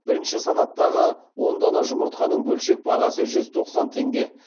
бірінші санаттағы он дана жұмыртқаның бөлшек бағасы жүз тоқсан теңге